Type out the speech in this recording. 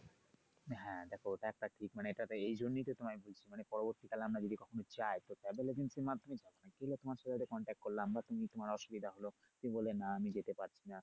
হ্যা দেখো এটা একটা ঠিক মানে এটাতে এই জন্য তো তোমায় বলছি মানে পরবর্তী কালে আমরা যদি কখনো যাই তো travel agency এর মাধ্যমে না গিয়ে তোমার সাথে contact করলাম বা তুমি তোমার অসুবিধা হলো তুমি বললে না আমি যেতে পারছি না।